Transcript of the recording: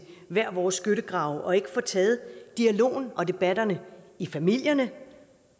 hver vores skyttegrav og ikke får taget dialogen og debatterne i familierne